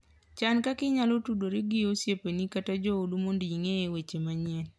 Chan kaka inyalo tudori gi osiepeni kata joodu mondo ing'e weche manyien.